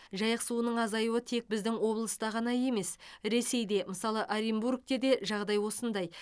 жайық суының азаюы тек біздің облыста ғана емес ресейде мысалы оренбургте де жағдай осындай